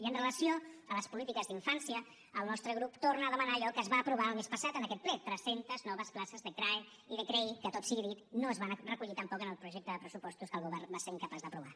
i amb relació a les polítiques d’infància el nostre grup torna a demanar allò que es va aprovar el mes passat en aquest ple tres centes noves places de crae i de crei que tot sigui dit no es van recollir tampoc en el projecte de pressupostos que el govern va ser incapaç d’aprovar